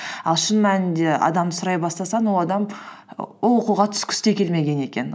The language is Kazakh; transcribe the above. ал шын мәнінде адамды сұрай бастасаң ол адам ол оқуға түскісі де келмеген екен